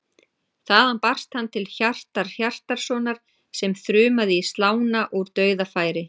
Þaðan barst hann til Hjartar Hjartarsonar sem þrumaði í slána úr dauðafæri.